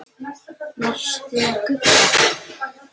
Varstu að gubba?